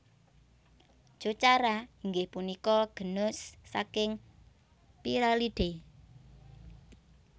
Jocara inggih punika genus saking Pyralidae